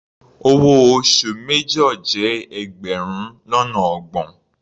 Owó oṣù major jẹ́ ẹgbẹrun lọ́nà ọgbọ̀n.